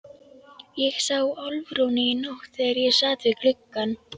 Ég sá Álfrúnu í nótt þegar ég sat við gluggann.